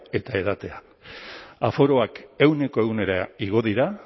eta edatea aforoak ehuneko ehunera igo dira